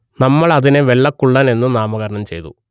നമ്മൾ അതിനെ വെള്ളക്കുള്ളൻ എന്ന് നാമകരണം ചെയ്തു